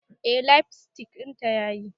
Eh lipstick dinta yayi.